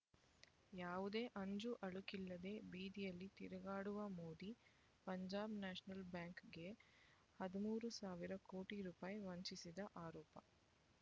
ಯಾವುದೇ ಅಂಜುಅಳುಕಿಲ್ಲದೆ ಬೀದಿಯಲ್ಲಿ ತಿರುಗಾಡುವ ಮೋದಿ ಪಂಜಾಬ್ ನ್ಯಾಷನಲ್ ಬ್ಯಾಂಕ್‌ಗೆ ಹದಿಮೂರು ಸಾವಿರ ಕೋಟಿ ರೂಪಾಯಿ ವಂಚಿಸಿದ ಆರೋಪ